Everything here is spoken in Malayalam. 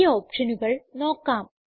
ഈ ഓപ്ഷനുകൾ നോക്കാം